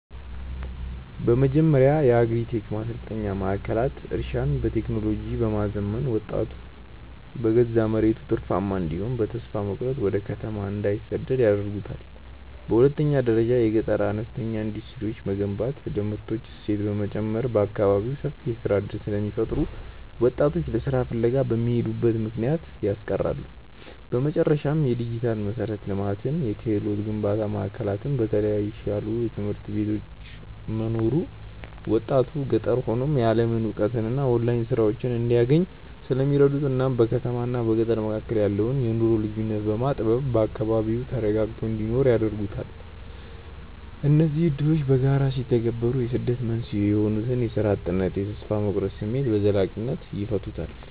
በመጀመሪያ የአግሪ-ቴክ ማሰልጠኛ ማዕከላት እርሻን በቴክኖሎጂ በማዘመን ወጣቱ በገዛ መሬቱ ትርፋማ እንዲሆንና በተስፋ መቁረጥ ወደ ከተማ እንዳይሰደድ ያደርጉታል። በሁለተኛ ደረጃ የገጠር አነስተኛ ኢንዱስትሪዎችን መገንባት ለምርቶች እሴት በመጨመር በአካባቢው ሰፊ የሥራ ዕድል ስለሚፈጥሩ ወጣቶች ለሥራ ፍለጋ የሚሄዱበትን ምክንያት ያስቀራሉ። በመጨረሻም፣ የዲጂታል መሠረተ ልማትና የክህሎት ግንባታ ማዕከላት በተሻሉ ትምህርት ቤቶች መኖሩ ወጣቱ ገጠር ሆኖ የዓለምን እውቀትና የኦንላይን ሥራዎችን እንዲያገኝ ስለሚረዱት እናም በከተማና በገጠር መካከል ያለውን የኑሮ ልዩነት በማጥበብ በአካባቢው ተረጋግቶ እንዲኖር ያደርጉታል። እነዚህ ዕድሎች በጋራ ሲተገበሩ የስደት መንስኤ የሆኑትን የሥራ እጥነትና የተስፋ መቁረጥ ስሜት በዘላቂነት ይፈታሉ።